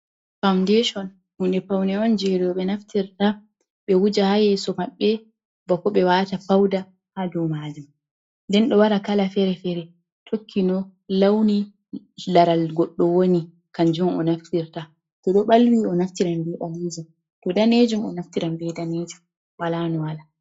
Faundation hnude fawne on jei rewɓe naftirta ɓe wuje haa yeeso maɓɓe bako ɓe waata fauda ha dow maajum. Nden ɗo wara kala fere-fere tokki no launi laral goɗɗo woni kanjum o naftirta to ɗo balwi o naftiran bee maajum to daneejum o naftiran bee daneeeji wala no wala.